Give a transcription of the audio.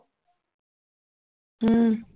ਹਮ